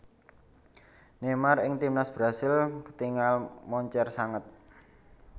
Neymar ing Timnas Brasil ketingal moncer sanget